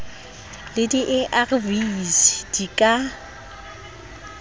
le di arv di ka